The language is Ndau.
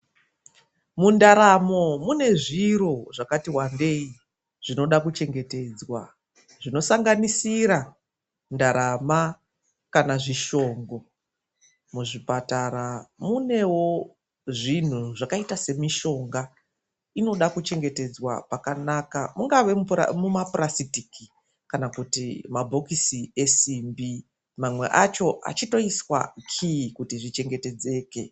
Mundaramo mune zviro zvakati wandei zvinoda kuchengetedzwa ,zvinosanganisira ndarama kana zvishongo ,muzvibhedhlera munewo mitombo inenge ichida kuvharirwawo mumagaba esimbi kuti achengetedzeke.